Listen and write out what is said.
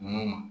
Nun